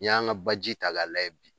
N'i y'a ŋa baji ta k'a layɛ bi